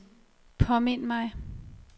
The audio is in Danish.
påmind mig